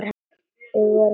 Við vorum að flytja suður.